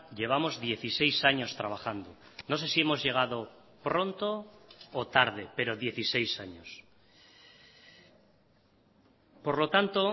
llevamos dieciséis años trabajando no sé si hemos llegado pronto o tarde pero dieciséis años por lo tanto